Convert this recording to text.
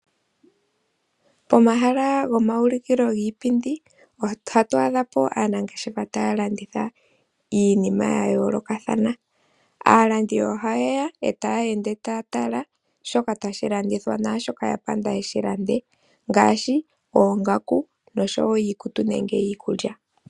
Pomahala gomaulikilo giipindi ohatu adhapo aanangeshefa taya landitha iinima ya yoolokathana. Aalandi ohaye ya e taya ende taya tala shoka tashi landithwa naashoka ya panda yeshi lande ngaashi oongaku, noshowo iikutu nenge iikulya.